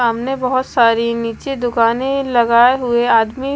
सामने बहुत सारी नीचे दुकानें लगाए हुए आदमी--